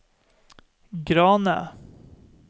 Grane